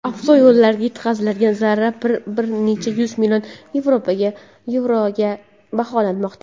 avtoyo‘llarga yetkazilgan zarar bir necha yuz million yevroga baholanmoqda.